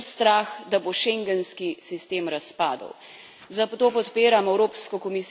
Če bo ta obstal, je upravičen strah, da bo schengenski sistem razpadel.